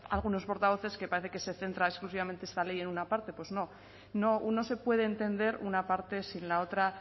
algunos portavoces que parece que se centra exclusivamente esta ley en una parte pues no no se puede entender una parte sin la otra